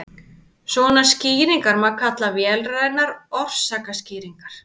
svona skýringar má kalla vélrænar orsakaskýringar